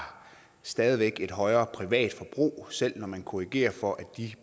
stadig væk et højere privatforbrug selv når man korrigerer for at de